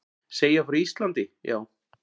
Segja frá Íslandi, já.